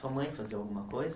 Sua mãe fazia alguma coisa?